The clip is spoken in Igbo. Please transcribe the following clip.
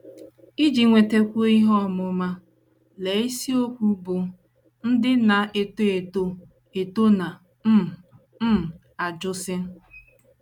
Iji nwetakwuo ihe ọmụma, lee isiokwu bụ́ “ Ndị Na - eto Na - eto Eto Na um - um ajụ Sị...